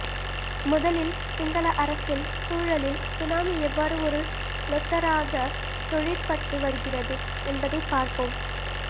முதலில் சிங்கள அரசில் சூழலில் சுனாமி எவ்வாறு ஒரு லொத்தராகத் தொழிற்பட்டு வருகிறது என்பதைப் பார்ப்போம்